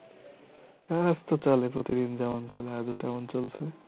কাজ তো চলে প্রতিদিন যেমন চলে আজও তেমন চলছে আপনার কি অবস্থা।